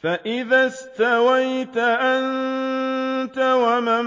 فَإِذَا اسْتَوَيْتَ أَنتَ وَمَن